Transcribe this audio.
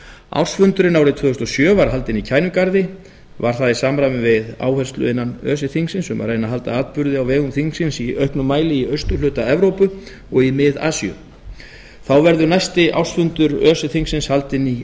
ársfundurinn árið tvö þúsund og sjö var haldinn í kænugarði var það í samræmi við áherslu innan öse þingsins um að reyna að halda atburði á vegum þingsins í auknum mæli í austurhluta evrópu og í mið asíu þá verður næsti ársfundur öse þingsins haldinn í